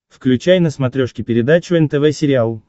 включай на смотрешке передачу нтв сериал